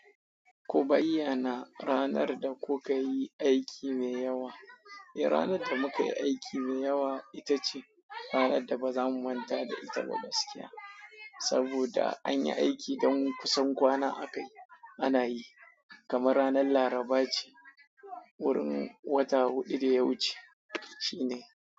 Ku bayyana ranar da kuka yi aiki mai yawa. Eh, ranar da muka yi aiki mai yawa ita ce ranar da ba za mu manta da ita ba gaskiya. Saboda an yi aiki don kusan kwana aka yi ana yi, kamar ranar Laraba ce, wurin wata huɗu da ya wuce shine.